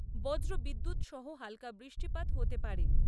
বজ্রবিদ্যুৎ সহ হালকা বৃষ্টিপাত হতে পারে।